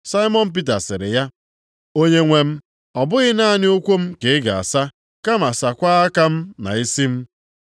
Saimọn Pita sịrị ya, “Onyenwe m, ọ bụghị naanị ụkwụ m ka ị ga-asa, kama saakwa aka m na isi m.”